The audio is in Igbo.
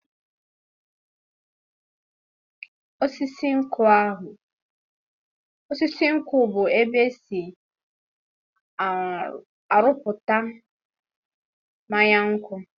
Osisi nkwụ bụ ébé esi aruputa mmanya nkwụ.